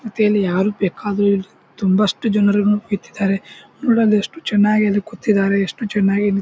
ಮತ್ತೆ ಇಲ್ಲಿ ಯಾರು ಬೇಕಾದ್ರೆ ತುಂಬಷ್ಟು ಜನರು ಕೂತಿದ್ದಾರೆ ನೋಡಿ ಅಲ್ಲಿ ಎಷ್ಟು ಚೆನ್ನಾಗಿ ಕೂತಿದ್ದಾರೆ ಎಷ್ಟು ಚೆನ್ನಾಗಿ--